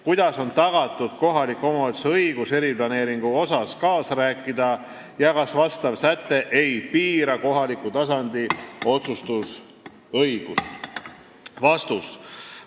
Kuidas on tagatud kohaliku omavalitsuse õigus eriplaneeringu osas kaasa rääkida ja kas vastav säte ei piira kohaliku tasandi otsustusõigust?